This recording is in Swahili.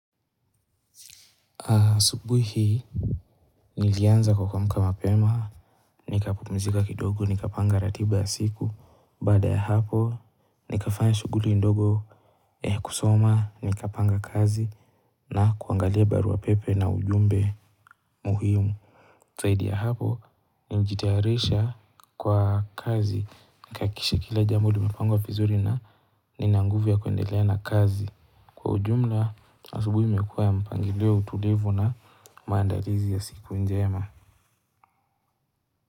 Asubuhi hii nilianza kwa kuamuka mapema, nikapumzika kidogo, nikapanga ratiba ya siku, baada ya hapo, nikafanya shughuli ndogo kusoma, nikapanga kazi, na kuangalia barua pepe na ujumbe muhimu. Zaidi ya hapo, ni jitayarisha kwa kazi. Nikahakisha kila jambo limepangwa vizuri na nina nguvu ya kuendelea na kazi. Kwa ujumla, asubuhi imekuwa ya mpangilia utulivu na maandalizi ya siku njema.